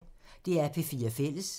DR P4 Fælles